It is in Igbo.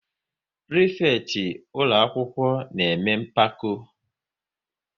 Prịfekịtị ụlọakwụkwọ na-eme mpako